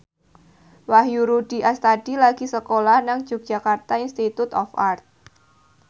Wahyu Rudi Astadi lagi sekolah nang Yogyakarta Institute of Art